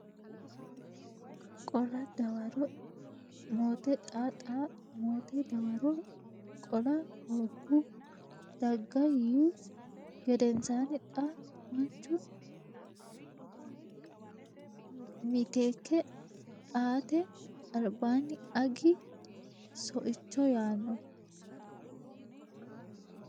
qola dawaro mote Xa Xa mote dawaro qola hoogihu daga yiihu gedensaanni xa maanchu miteekke aate albaanni Agi soicho yaanno !